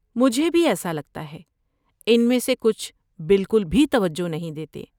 مجھے بھی ایسا لگتا ہے، ان میں سے کچھ بالکل بھی توجہ نہیں دیتے۔